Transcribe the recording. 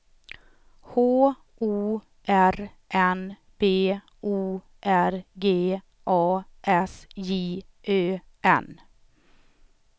H O R N B O R G A S J Ö N